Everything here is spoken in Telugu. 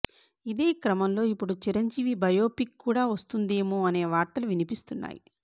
ఇదే క్రమంలో ఇప్పుడు చిరంజీవి బయోపిక్ కూడా వస్తుందేమో అనే వార్తలు వినిపిస్తున్నాయి